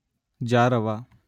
ಜಾರವ